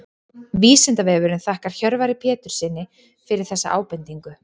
Vísindavefurinn þakkar Hjörvari Péturssyni fyrir þessa ábendingu.